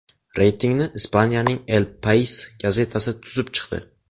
Reytingni Ispaniyaning El Pais gazetasi tuzib chiqdi .